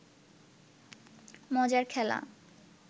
মজার খেলা